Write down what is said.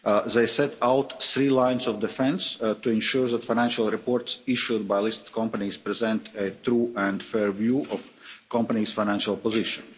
They set out three lines of defence to ensure that financial reports issued by listed companies present a true and fair view of a company's financial position.